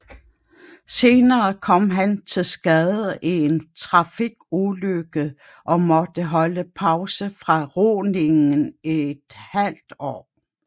Senere kom han til skade i en trafikulykke og måtte holde pause fra roningen i et halvt år